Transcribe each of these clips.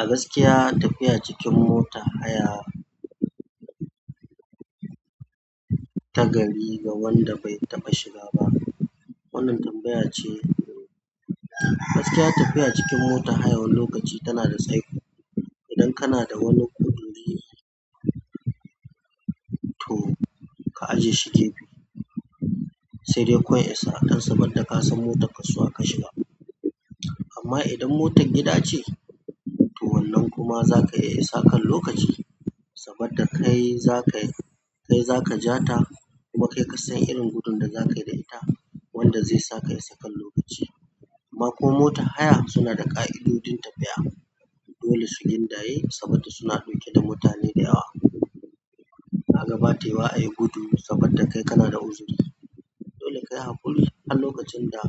A gaskiya, tafiya cikin motar haya ta gari ga wanda bai taɓa shiga ba, wannan tambaya ce. Gaskiya tafiya cikin motar haya wani lokaci tana da tsaiko. Idan kana da wani guduri. To ka ajiye shi gefe sai dai koya akan saboda ka san motar kasuwa ka shiga. Amma idan motar gida ce, to wannan kuma zaka iya sakan lokaci sabadda kai zakayi, kai zaka ja ta kuma kai ka san irin gudun da zakayi da ita wanda zai sa ka ka'isa kan lokaci. Ba ko mota haya suna da ƙa'idodin tafiya, dole su in daye saboda suna ɗauke da mutane da yawa. Kaga bata yiwuwa a yi gudu saboda kai kana da uzuri, dole kayi haƙuri har lokacin da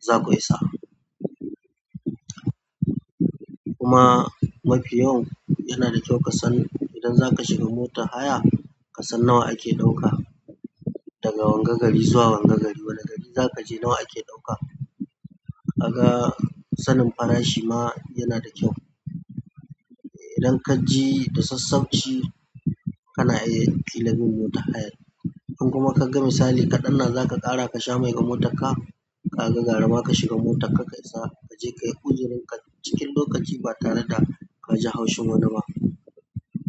za ku isa. Kuma mafi yawan yana da kyau ka san idan zaka shiga mota haya, ka san nawa ake ɗauka daga wanga gari zuwa wanga gari. Wane gari za ka je nawa ake ɗauka. Kaga sanin farashi ma yana da kyau. Idan ka ji da sassauci, kana iya filamin mota hayar. In kuma kaga misali kaɗan da zaka sha mai na motar ka kaga garama kashiga motar ka kashiga motar ka ka isa kaje kayi uzurinka cikin lokaci ba tare d kaji haushin wani ba.